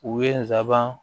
U ye n sabanan